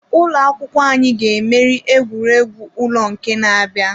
Ụlọ akwụkwọ anyị ga-emeri egwuregwu ụlọ nke na-abịa.